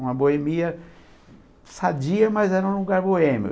Uma boemia sadia, mas era um lugar boêmio.